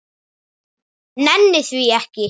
Nenni því ekki